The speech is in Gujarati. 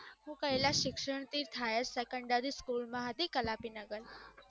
હું કૈલાશ શિક્ષણ ની highersecondary school માં હતી કલાપી નગર